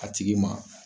A tigi ma